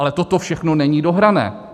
Ale toto všechno není dohrané.